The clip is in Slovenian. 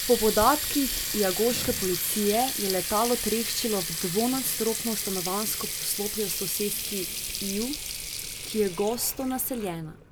Po podatkih lagoške policije je letalo treščilo v dvonadstropno stanovanjsko poslopje v soseski Iju, ki je gosto naseljena.